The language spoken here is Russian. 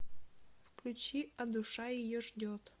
включи а душа ее ждет